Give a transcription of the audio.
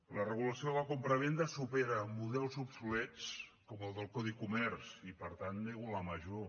la regulació de la compravenda supera models obsolets com el del codi comerç i per tant nego la major